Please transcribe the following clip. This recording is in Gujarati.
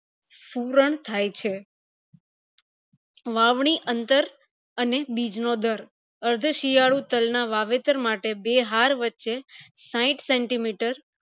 સૂરણ થાય છે વાવણી અંતર અને બીજ નો દર અર્થ શિયાળુ તલ ના વાવેતર માટે બે હર વચે સાઈઠ centimeter